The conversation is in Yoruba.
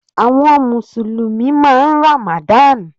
Àwọn mùsùlùmí máa ń Ramadan.